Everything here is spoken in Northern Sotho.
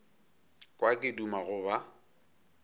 kwa ke duma go ba